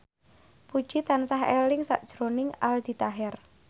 Puji tansah eling sakjroning Aldi Taher